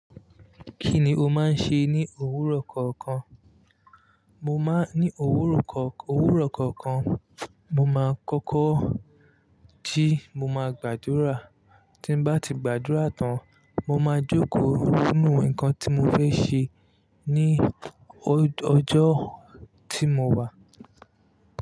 Kí ni o máa ń ṣe ní òwúrọ̀ kọ̀ọ̀kan? Mo máa ń ní òwúrọ̀ kọ̀ọ̀kan, òwúrọ̀ kọ̀ọ̀kan, mo máa kọ́kọ́ jí, mo máa gbàdúrà. Tí n bá ti gbàdúrà tán, mo máa jókòó ronú ǹkan tí mo fẹ́ ṣe ní ọjọ́ tí mo wà.